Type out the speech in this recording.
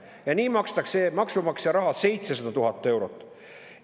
Ja selleks makstakse maksumaksja raha 700 000 eurot.